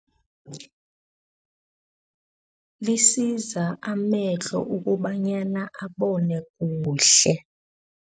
Lisiza amehlo ukobanyana abone kuhle.